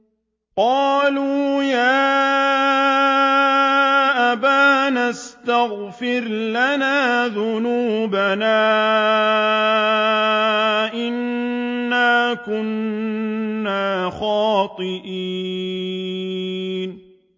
قَالُوا يَا أَبَانَا اسْتَغْفِرْ لَنَا ذُنُوبَنَا إِنَّا كُنَّا خَاطِئِينَ